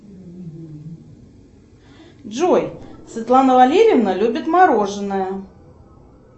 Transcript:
джой светлана валерьевна любит мороженое